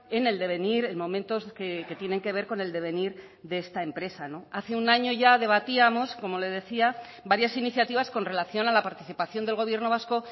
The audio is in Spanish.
en el devenir en momentos que tienen que ver con el devenir de esta empresa hace un año ya debatíamos como le decía varias iniciativas con relación a la participación del gobierno vasco